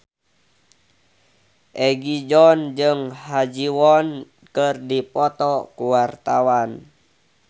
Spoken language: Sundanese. Egi John jeung Ha Ji Won keur dipoto ku wartawan